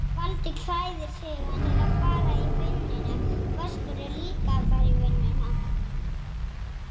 Ertu ekki sáttur við það?